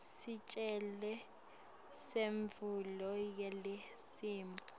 sicelo semvumo yelicembu